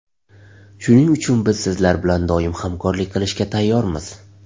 Shuning uchun biz sizlar bilan doim hamkorlik qilishga tayyormiz.